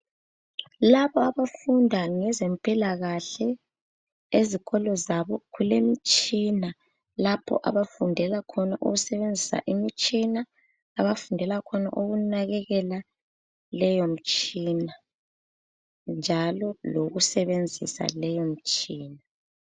Laba abafunda ngezempilakahle ezikolo zabo kulemtshina lapho abafundela khona ukusebenzisa imitshina abafundela khona ukunakekela leyomtshina njalo lokusebenzisa leyomtshina.